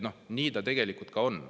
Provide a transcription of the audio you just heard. Noh, nii ta tegelikult on.